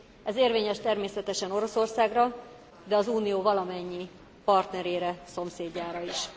Ez érvényes természetesen Oroszországra, de az Unió valamennyi partnerére, szomszédjára is.